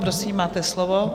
Prosím, máte slovo.